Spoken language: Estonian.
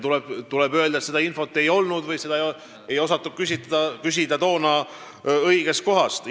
Tuleb öelda, et sellekohast teavet ei olnud või siis ei osatud seda toona õigest kohast küsida.